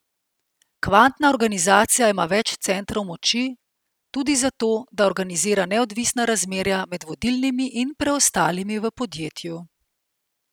Kvantna organizacija ima več centrov moči, tudi zato, da organizira neodvisna razmerja med vodilnimi in preostalimi v podjetju.